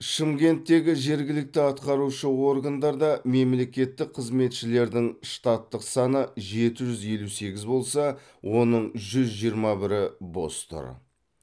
шымкенттегі жергілікті атқарушы органдарда мемлекеттік қызметшілердің штаттық саны жеті жүз елу сегіз болса оның жүз жиырма бірі бос тұр